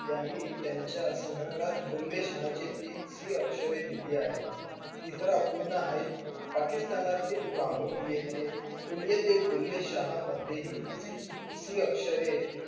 यांनी त्यंचे संग्रहात बुलेशहा हाच्य तीनशी अक्षरे आहेत. तिसरा पूर्ण पाकिस्तानीतील लोहार येथे कुल्येती बुलेशहा मधेही शी अक्षरे